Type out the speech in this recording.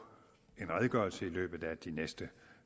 en redegørelse i løbet af de næste